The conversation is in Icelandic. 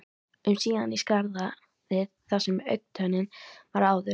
um síðan í skarðið þar sem augntönnin var áður.